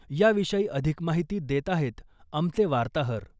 याविषयी अधिक माहिती देत आहेत आमचे वार्ताहर ...